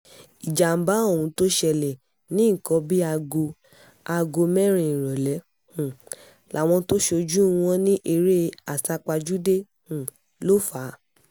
ìjàḿbà ohun tó ṣẹlẹ̀ ní nǹkan bíi aago aago mẹ́rin ìrọ̀lẹ́ um làwọn tó ṣojú wọn ní eré àsápajúdé um ló fà á